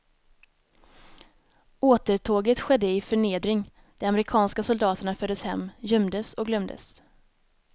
Återtåget skedde i förnedring, de amerikanska soldaterna fördes hem, gömdes och glömdes.